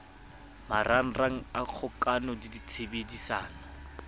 marangrang a kgokano le tshebedisano